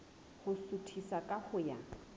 ho suthisa ka ho ya